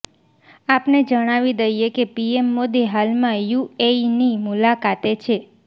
આપને જણાવી દઈએ કે પીએમ મોદી હાલમાં યુએઈની મુલાકાતે છે